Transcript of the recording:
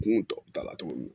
Kun tɔ ta la cogo min na